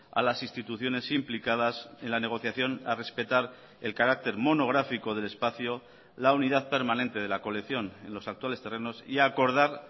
a las instituciones implicadas en la negociación a respetar el carácter monográfico del espacio la unidad permanente de la colección en los actuales terrenos y acordar